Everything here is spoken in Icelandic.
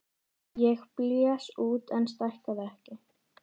Ég blés út en stækkaði ekki.